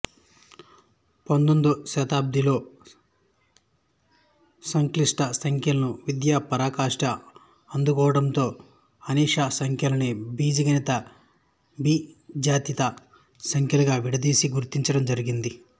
పందొమ్మిదో శతాబ్దిలో సంక్లిష్ట సంఖ్యల విద్య పరాకాష్ఠ అందుకోవడంతో అనిష్ప సంఖ్యలని బీజగణిత బీజాతీత సంఖ్యలుగా విడదీసి గుర్తించడం జరిగింది